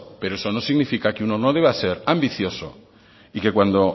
pero eso no significa que uno no deba ser ambicioso y que cuando